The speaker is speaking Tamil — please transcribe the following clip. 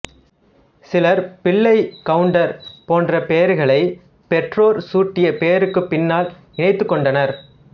சிலர் பிள்ளை கவுண்டர் போன்ற பெயர்களைப் பெற்றோர் சூட்டிய பெயருக்கும் பின்னால் இணைத்துக்கொண்டனர்